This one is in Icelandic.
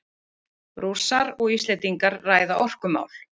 Rússar og Íslendingar ræða orkumál